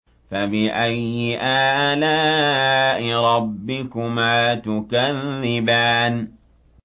فَبِأَيِّ آلَاءِ رَبِّكُمَا تُكَذِّبَانِ